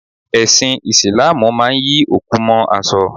Ẹsin Isilaamu máa ń yí òkú mó aṣọ.